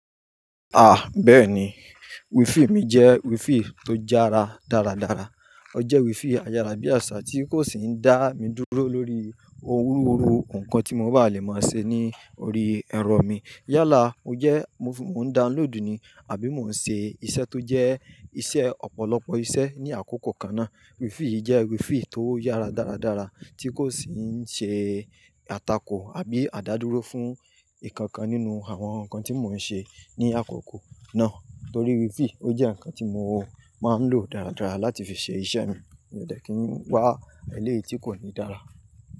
Ah! Bẹ́ẹ̀ni. Wifi mi jẹ́ wifi tó jára dáradára. Ó jẹ́ wifi ayárá bí àsá tí kò sì ń dá mi dúró lórí orúhuruhu nǹkan tí mo bá lè máa ṣe ní orí ẹ̀rọ mi. Yálà mo jẹ́ mò ń download ni àbí mò ń ṣe iṣẹ́ tó jẹ́ iṣẹ́ ọ̀pọ̀lọpọ̀ iṣẹ́ ní àkókò kan náà. Wifi jẹ́ wifi tó yára dáradára tí kò sì ń ṣe àtakò àbí àdádúró fún nkankan nínú àwọn nǹkan tí mò ń ṣe ní àkókò náà. Torí wifi ó jẹ́ nǹkan tí mo máa ń lò dáradára láti fi ṣe iṣẹ́ mi. Mi ò dẹ ki ń wá eléyìí tí kò ní dára.